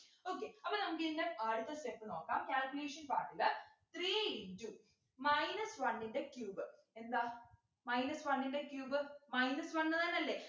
okay അപ്പൊ നമുക്കിതിൻ്റെ അടുത്ത step നോക്കാം calculation part ല് three into minus one ൻ്റെ cube എന്താ minus one ൻ്റെ cube minus one ന്ന് തന്നല്ലേ